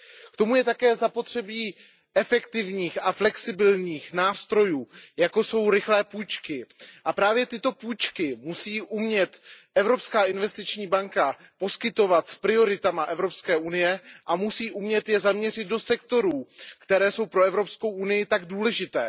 K tomu je také zapotřebí efektivních a flexibilních nástrojů, jako jsou rychlé půjčky, a právě tyto půjčky musí umět Evropská investiční banka poskytovat s prioritami Evropské unie a musí umět je zaměřit do sektorů, které jsou pro Evropskou unii tak důležité.